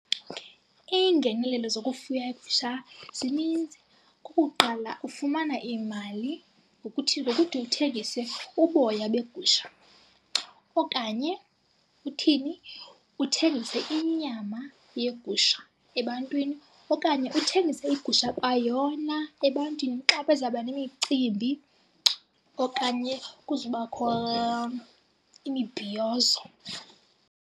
Okay. Iingenelelo zokufuya iigusha zininzi. Okokuqala, ufumana iimali ngokuthini? Ngokuthi uthengise uboya begusha okanye uthini? Uthengise inyama yegusha ebantwini. Okanye uthengise igusha kwayona ebantwini xa beza kuba nemicimbi okanye kuzobakho imibhiyozo.